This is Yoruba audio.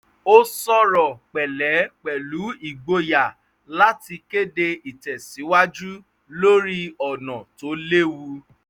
ó sọ̀rọ̀ pẹ̀lẹ́ pẹ̀lú ìgboyà láti kéde ìtẹ̀síwájú lórí ọ̀nà tó lewu